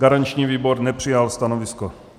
Garanční výbor nepřijal stanovisko.